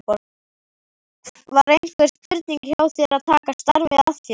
Var einhver spurning hjá þér að taka starfið að þér?